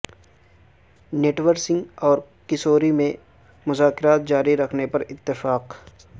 نٹور سنگھ اور قصوری میں مذاکرات جاری رکھنےپر اتفاق